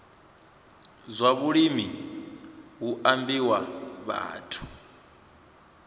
zwa vhulimi hu ambiwa vhathu